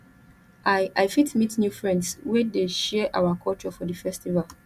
i i fit meet new friends wey dey share our culture for di festival